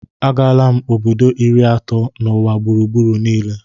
Agala m obodo iri atọ n'ụwa gburugburu niile